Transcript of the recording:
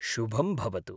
शुभं भवतु।